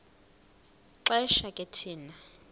xesha ke thina